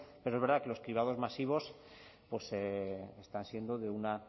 pero es verdad que los cribados masivos pues están siendo de una